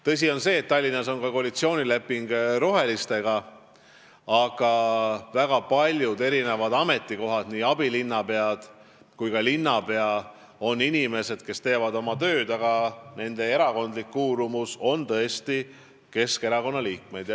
Tõsi on see, et Tallinnas on sõlmitud koalitsioonileping rohelistega, aga väga paljudel ametikohtadel, nii abilinnapeadena kui ka linnapeana töötavad inimesed, kes kuuluvad tõesti Keskerakonda.